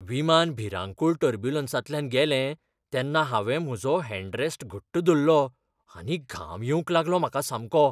विमान भिरांकूळ टर्ब्युलंसांतल्यान गेलें तेन्ना हांवें म्हजो हॅंडरॅस्ट घट्ट धरलो आनी घाम येवंक लागलो म्हाका सामको.